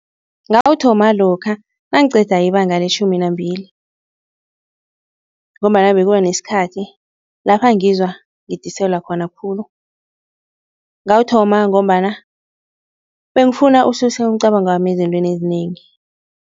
Ngawuthoma lokha nangiqeda ibanga letjhumi nambili ngombana bekuba nesikhathi lapha ngizwa ngidiselwa khona khulu. Ngawuthoma ngombana bengifuna ukususa umcabangwami ezintweni ezinengi.